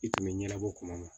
I tun bɛ ɲɛnabɔ kuma ma